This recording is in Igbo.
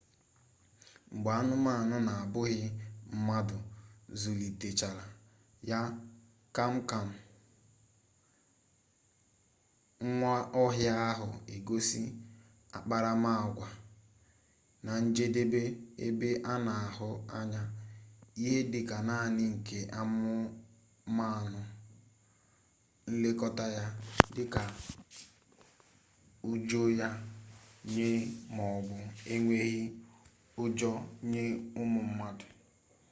mgbe anumanu na-abughi-mmadu zulitechara ya kpam-kpam nwa-ohia ahu egosi akparama-agwa na njedebe ebe ana ahu anya ihe dika nani nke anumanu-nlekota ya dika ujo ya nye maobu enweghi ujo nye umu mmadu